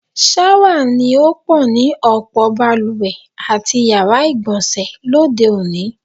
S̩áwà ni ó pò̩ ni ò̩pò̩ balùwè àti yàrá ìgbò̩nsè̩ lóde òní.